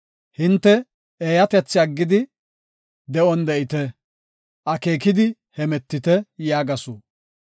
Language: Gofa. Hinte eeyatethi aggidi de7on de7ite; akeekidi hemetite” yaagasu.